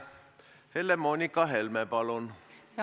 Helle-Moonika Helme, palun!